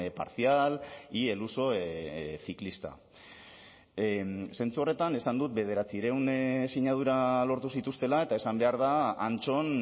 parcial y el uso ciclista zentzu horretan esan dut bederatziehun sinadura lortu zituztela eta esan behar da antxon